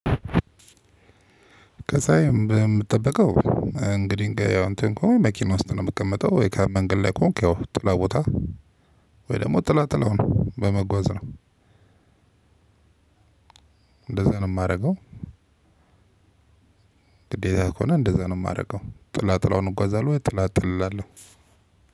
ከዛ የምትጠብቀው እንግዲህ ያው እንትን እኮ መኪና ውስጥ ነው የምትቀመጠው የካም መንገድ ላይ ከሆንክ ያው ጥላ ቦታ? ወይ ደሞ ጥላ ጥለውን በመጓዝ ነው። እንደዛ ነው ማረገው። ግዴታየ ከሆነ እንደዛ ነው የማደርገው ጥላትላውን እጓዛለሁ ወይ ጥላ እጠለላለሁ።